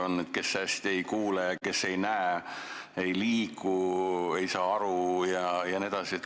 On inimesi, kes hästi ei kuule, on neid, kes ei näe, kes ei liigu, ei saa aru jne.